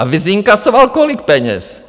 A vyinkasoval kolik peněz?